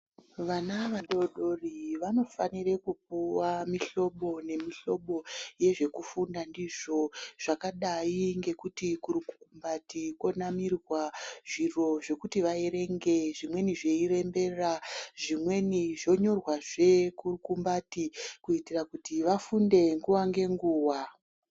Vana vadodori vanofanira kupuva muhlobo nemihlobo yezvekufunda ndizvo zvakadai ngekuti kurukumbati konamirwa zviri zvekuti vaverenge. Zvimweni zveirembera zvimweni zvonyorwazve kurukumbati kuitira kuti vafunde nguva ngenguva.